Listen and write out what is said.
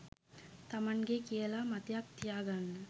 තමන්ගෙ කියල මතයක් තියාගන්න.